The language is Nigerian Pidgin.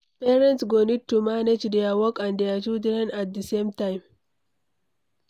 Parents go need to manage their work and their children at the same time